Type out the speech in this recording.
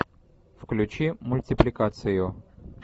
включи мультипликацию